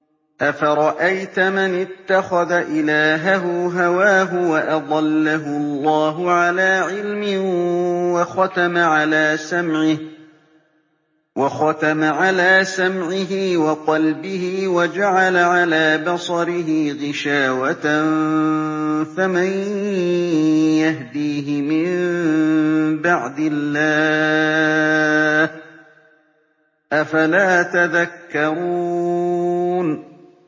أَفَرَأَيْتَ مَنِ اتَّخَذَ إِلَٰهَهُ هَوَاهُ وَأَضَلَّهُ اللَّهُ عَلَىٰ عِلْمٍ وَخَتَمَ عَلَىٰ سَمْعِهِ وَقَلْبِهِ وَجَعَلَ عَلَىٰ بَصَرِهِ غِشَاوَةً فَمَن يَهْدِيهِ مِن بَعْدِ اللَّهِ ۚ أَفَلَا تَذَكَّرُونَ